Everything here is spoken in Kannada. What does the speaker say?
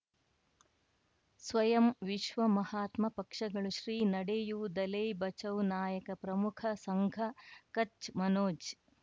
ಸ್ವಯಂ ವಿಶ್ವ ಮಹಾತ್ಮ ಪಕ್ಷಗಳು ಶ್ರೀ ನಡೆಯೂ ದಲೈ ಬಚೌ ನಾಯಕ ಪ್ರಮುಖ ಸಂಘ ಕಚ್ ಮನೋಜ್